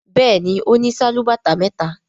Béèni ọ ní Sálúbàtà méta.